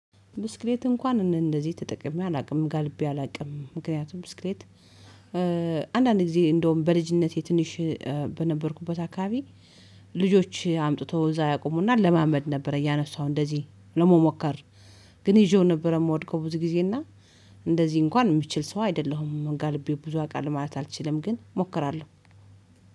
ብስክሌት እንኳን እንደዚህ ተጠቅሜ አላውቅም ጋልቤ አላቅም ምክንያቱም ብስክሌት። አንዳንድ ጊዜ እንደውም በልጅነቴ ትንሽ በነበርኩበት አካባቢ ልጆች አምጥተው እዛ ያቆሙና እለማመድ ነበር እያነሳው እንደዚህ ለመሞከር። ግን ይዤው ነበር ምወድቀው ብዙ ጊዜ እና እንደዚህ እንኳን ምችል ሰው አይደለሁም ጋልቤ ብዙ አውቃለሁ ማለት አልችልም። ግን ሞክራለሁ።